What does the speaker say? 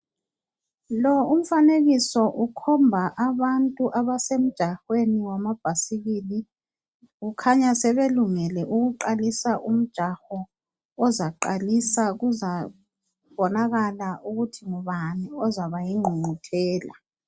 Lo umfanekiso ukhomba abantu abasemjahweni wamabhasikili. Kukhanya sebelungele ukuqalisa umjaho, ozaqalisa kuzabonakala ukuthi ngubani ozaba yingqungquthela.